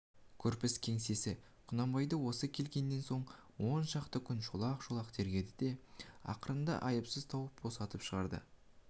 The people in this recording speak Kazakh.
көрпіс кеңсесі құнанбайды осы келгеннен он шақты күн шолақ-шолақ тергеді де ақырында айыпсыз тауып босатып шығарды